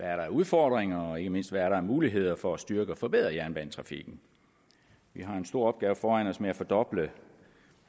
er af udfordringer og ikke mindst hvad der er af muligheder for at styrke og forbedre jernbanetrafikken vi har en stor opgave foran os med at fordoble